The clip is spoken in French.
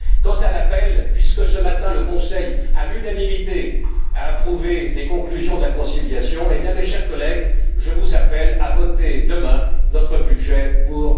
Quant à l'appel, puisque ce matin le Conseil, à l'unanimité, a approuvé les conclusions de la conciliation, mes chers collègues, je vous appelle à voter demain notre budget pour